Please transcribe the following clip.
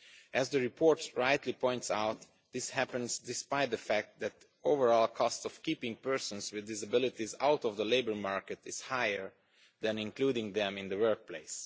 As the report rightly points out, this happens despite the fact that the overall cost of keeping persons with disabilities out of the labour market is higher than including them in the workplace.